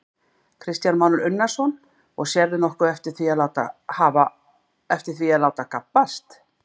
Kristján Már Unnarsson: Og sérðu nokkuð eftir því að láta gabbast?